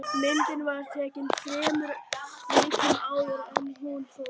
Myndin var tekin þremur vikum áður en hún fórst